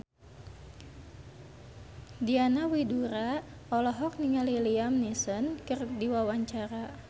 Diana Widoera olohok ningali Liam Neeson keur diwawancara